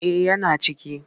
Eh yana ciki.